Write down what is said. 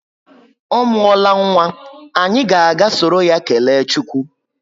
Ọ muola nwa, anyị ga aga soro ya kelee chukwu